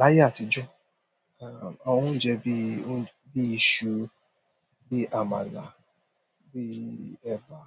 Láyé àtijọ́, àwọn oúnjẹ bí i, bí i iṣu, bí i àmàlà, bí i ẹba,